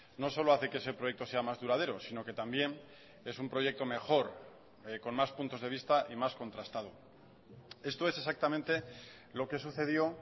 no solo hace que ese proyecto sea más duradero sino que también es un proyecto mejor con más puntos de vista y más contrastado esto es exactamente lo que sucedió